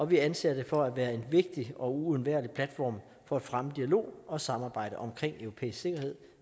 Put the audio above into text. vi anser det for at være en vigtig og uundværlig platform for at fremme dialog og samarbejde om europæisk sikkerhed